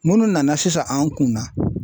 Munnu nana sisan an kunna